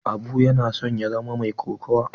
Abu yana son ya zama mai kokawa.